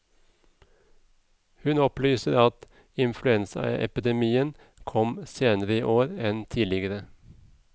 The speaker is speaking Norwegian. Hun opplyser at influensaepidemien kom senere i år enn tidligere.